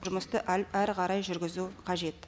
жұмысты әрі қарай жүргізу қажет